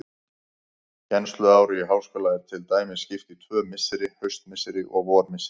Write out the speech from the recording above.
Kennsluári í háskóla er til dæmis skipt í tvö misseri, haustmisseri og vormisseri.